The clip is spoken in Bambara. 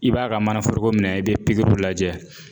I b'a ka mana foroko minɛ i be pigiriw lajɛ